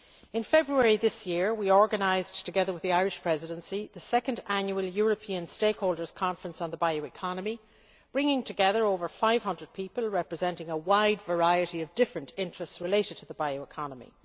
In February this year we organised, together with the Irish Presidency, the second annual European stakeholders' conference on the bioeconomy, bringing together over 500 people representing a wide variety of different interests related to the bioeconomy.